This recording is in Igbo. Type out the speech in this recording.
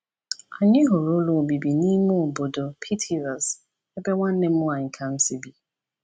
Anyị hụrụ ụlọ obibi n’ime obodo Pithiviers, ebe nwanne m nwanyị Kamsi bi.